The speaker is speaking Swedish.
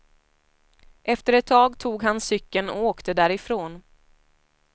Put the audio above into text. Efter ett tag tog han cykeln och åkte därifrån.